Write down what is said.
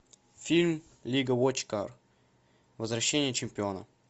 фильм лига вотчкар возвращение чемпиона